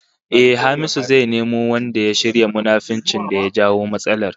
Ehh, Hamisu zai nemo wanda ya shirya munafuncin da ya jawo matsalar